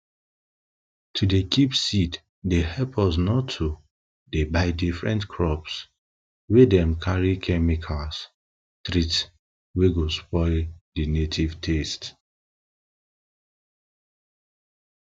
to dey kip seeds dey help us not to dey buy different crops wey dem carry chemicals treat wey go spoil dey native taste